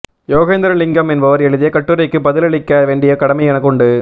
யோகேந்திரலிங்கம் என்பவர் எழுதிய கட்டுரைக்கு பதிலளிக்க வேண்டிய கடமை எனக்கு உண்டு